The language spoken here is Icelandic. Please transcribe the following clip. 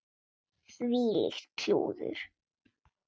Þvílíkt klúður.